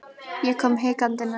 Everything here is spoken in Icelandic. Ég kom hikandi nær.